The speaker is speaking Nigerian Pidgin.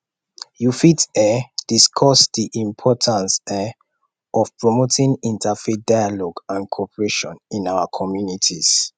you fit um discuss di importance um of promoting interfaith dialogue and and cooperation in our communities